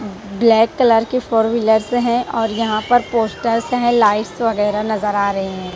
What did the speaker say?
Black colour के four wheelers हैं और यहां पर पोस्टर्स हैं लाइट्स वगैरह नजर आ रहे हैं।